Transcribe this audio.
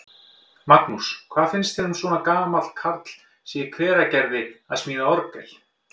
Magnús: Hvað finnst þér um að svona gamall karl í Hveragerði sé að smíða orgel?